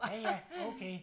Ja ja okay